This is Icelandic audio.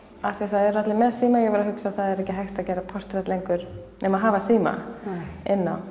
af því að það eru allir með síma ég var að hugsa að það er ekki hægt að gera portrett lengur nema hafa síma inni á